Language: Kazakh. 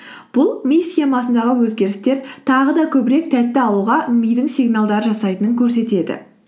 бұл ми схемасындағы өзгерістер тағы да көбірек тәтті алуға мидың сигналдар жасайтынын көрсетеді